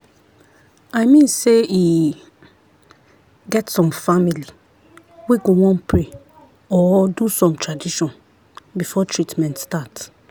i mean sey e get some family wey go wan pray or do some tradition before treatment start.